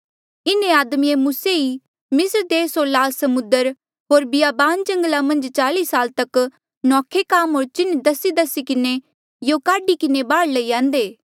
इन्हें आदमिये मूसे ई मिस्र देस होर लाल समुद्र होर बियाबान जंगला मन्झ चाल्ई साला तक नौखे काम होर चिन्ह दसीदसी किन्हें यों काढी किन्हें बाहर लई आंदे